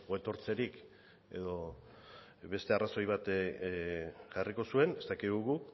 etortzerik edo beste arrazoi bat jarriko zuen ez dakigu